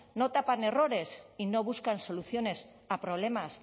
no tapan errores y no buscan soluciones a problemas